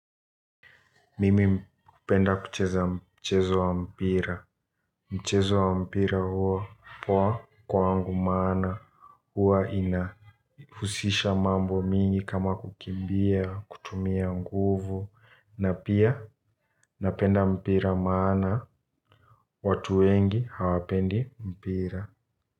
Mimi hupenda kucheza mchezo wa mpira. Mchezo wa mpira huwa poa kwangu maana huwa inahusisha mambo mengi kama kukimbia kutumia nguvu. Na pia napenda mpira maana watu wengi hawapendi mpira.